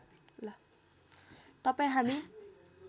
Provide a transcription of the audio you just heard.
तपाईँ हामी